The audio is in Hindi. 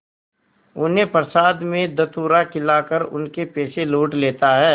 उन्हें प्रसाद में धतूरा खिलाकर उनके पैसे लूट लेता है